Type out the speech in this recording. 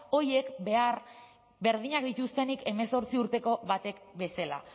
horiek behar berdinak dituztenik hemezortzi urteko batek bezala